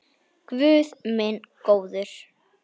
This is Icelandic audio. Guð minn góður!